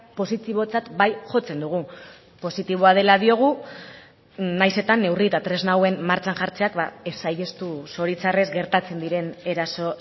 positibotzat bai jotzen dugu positiboa dela diogu nahiz eta neurri eta tresna hauen martxan jartzeak ez saihestu zoritxarrez gertatzen diren eraso